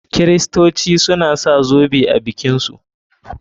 Kiristoci suna sa zoɓe a bikin su.